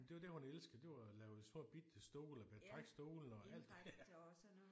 Men det var det hun elskede det var at lave små bitte stole og betrække stolene og alt det